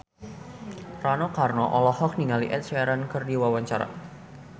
Rano Karno olohok ningali Ed Sheeran keur diwawancara